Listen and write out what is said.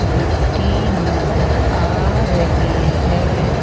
मिट्टी नज़र आ रही है।